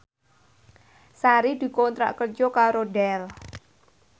Sari dikontrak kerja karo Dell